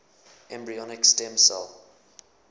embryonic stem cell